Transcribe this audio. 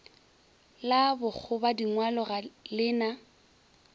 la bokgobadingwalo ga le na